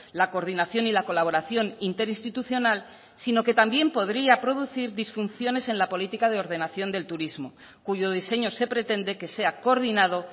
la coordinación y la colaboración interinstitucional sino que también podría producir disfunciones en la política de ordenación del turismo cuyo diseño se pretende que sea coordinado